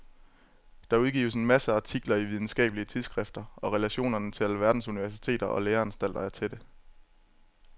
Der udgives masser af artikler i videnskabelige tidsskrifter og relationerne til alverdens universiteter og læreanstalter er tætte.